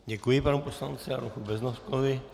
Děkuji panu poslanci Adolfu Beznoskovi.